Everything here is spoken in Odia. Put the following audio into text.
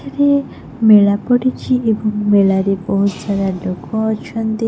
ଏଠି ମେଳା ପଡିଛି ଏବଂ ମେଳାରେ ବହୁତ ସାରା ଲୋକ ଅଛନ୍ତି।